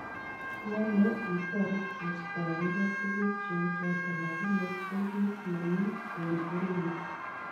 Iyoome itoret kostoeengei tuguuk cheuchoton lagini ko kiit nemii en orinyin.